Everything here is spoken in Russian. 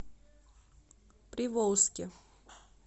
приволжске